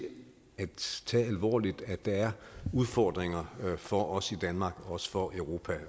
at tage alvorligt at der er udfordringer for os i danmark og også for europa